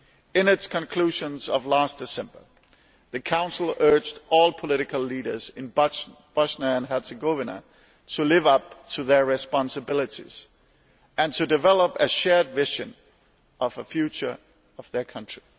In its conclusions of last December, the Council urged all political leaders in Bosnia and Herzegovina to live up to their responsibilities and to develop a shared vision of the future of their country.